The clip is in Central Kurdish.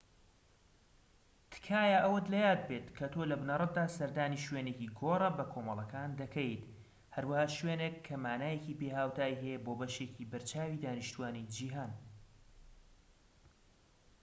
تکایە ئەوەت لە یاد بێت کە تۆ لە بنەڕەتدا سەردانی شوێنێکی گۆڕە بەکۆمەڵەکان دەکەیت، هەروەها شوێنێک کە مانایەکی بێهاوتای هەیە بۆ بەشێکی بەرچاوی دانیشتوانی جیهان‎